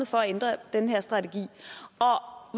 for at ændre den her strategi var